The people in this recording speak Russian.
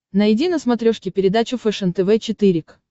найди на смотрешке передачу фэшен тв четыре к